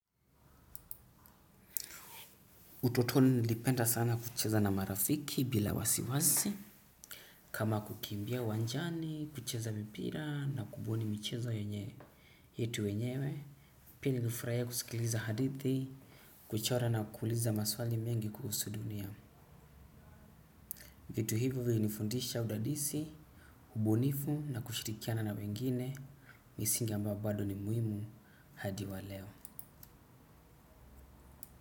Utotoni nilipenda sana kucheza na marafiki bila wasiwasi. Kama kukimbia uwanjani kucheza mipira na kubuni michezo yetu wenyewe. Pili nifurahia kusikiliza hadithi, kuchora na kuuliza maswali mengi kuhusu dunia. Vitu hivyo vilinifundisha udadisi, ubunifu na kushirikiana na wengine, misingi ambayo bado ni muhimu hadi wa leo.